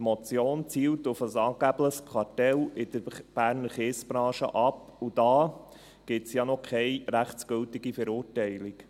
Die Motion zielt auf ein angebliches Kartell in der Berner Kiesbranche ab, und da gibt es ja noch keine rechtsgültige Verurteilung.